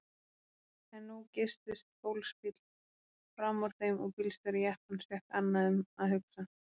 En nú geystist fólksbíll frammúr þeim og bílstjóri jeppans fékk annað um að hugsa.